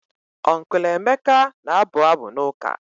Uncle Emeka na-abụ abụ n'ụka.